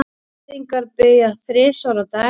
Gyðingar biðja þrisvar á dag.